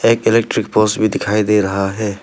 एक electric poles भी दिखाई दे रहा है।